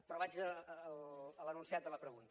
però vaig a l’enunciat de la pregunta